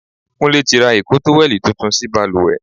Kúnlé tí ra ìko tówẹ́lì tuntun sí bàlùwẹ̀.